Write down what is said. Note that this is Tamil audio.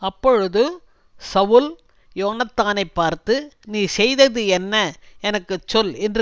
அப்பொழுது சவுல் யோனத்தானைப் பார்த்து நீ செய்தது என்ன எனக்கு சொல் என்று